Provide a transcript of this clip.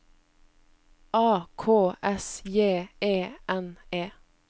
A K S J E N E